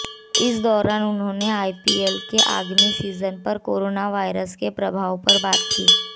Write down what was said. इस दौरान उन्होंने आईपीएल के आगमी सीजन पर कोरोना वायरस के प्रभाव पर बात की